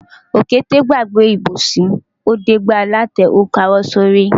Òkété gbàgbé ìbòsí, ó dé gbá alátẹ ó káwọ́ lórí.